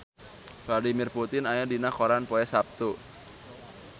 Vladimir Putin aya dina koran poe Saptu